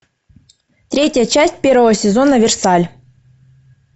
третья часть первого сезона версаль